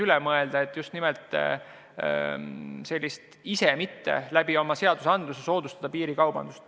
Selle üle tasub mõelda, et mitte oma seadustega soodustada piirikaubandust.